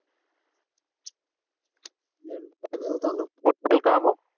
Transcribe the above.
ഞാൻ കേൾക്കാമോ